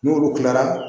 N'olu kilara